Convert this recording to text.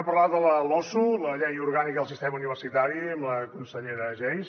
parlem de la losu la llei orgànica del sistema universitari amb la consellera geis